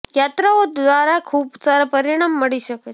યાત્રાઓ દ્વારા ખૂબ સારા પરિણામ મળી શકે છે